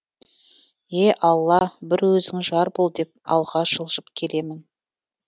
е алла бір өзің жар бол деп алға жылжып келемін